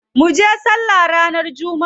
Munje sallah ranar jumma'a.